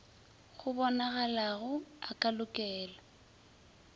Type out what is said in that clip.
go bonalago a ka lokela